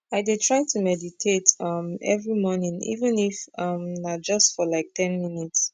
i dey try to meditate um everi mornin even if um na na just for like ten minutes